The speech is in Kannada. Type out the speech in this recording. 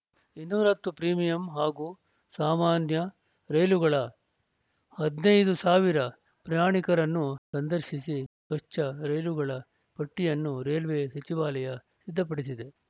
ಇನ್ನೂರ ಹತ್ತು ಪ್ರೀಮಿಯಂ ಹಾಗೂ ಸಾಮಾನ್ಯ ರೈಲುಗಳ ಹದಿನೈದ್ ಸಾವಿರ ಪ್ರಯಾಣಿಕರನ್ನು ಸಂದರ್ಶಿಸಿ ಸ್ವಚ್ಚ ರೈಲುಗಳ ಪಟ್ಟಿಯನ್ನು ರೈಲ್ವೆ ಸಚಿವಾಲಯ ಸಿದ್ಧಪಡಿಸಿದೆ